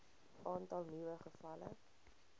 aantal nuwe gevalle